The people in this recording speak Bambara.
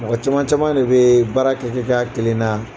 Mɔgɔ caman caman de bɛ baarakɛ kɛ kɛ kɛ a kelen na.